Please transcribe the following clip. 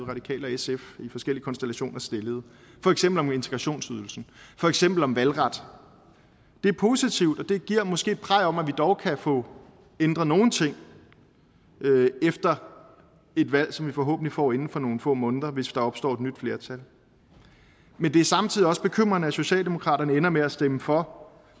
radikale og sf i forskellige konstellationer stillede for eksempel om integrationsydelsen for eksempel om valgret det er positivt og det giver måske et praj om at vi dog kan få ændret nogle ting efter et valg som vi forhåbentlig får inden for nogle få måneder hvis der opstår et nyt flertal men det er samtidig også bekymrende at socialdemokratiet ender med at stemme for